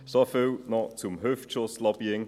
Soviel zum Hüftschuss-Lobbying.